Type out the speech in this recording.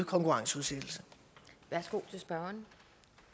konkurrenceudsættelse er